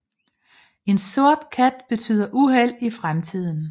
En sort kat betyder uheld i fremtiden